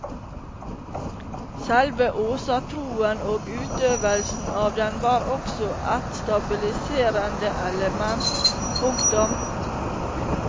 Selve åsatroen og utøvelsen av den var også ett stabiliserende element. punktum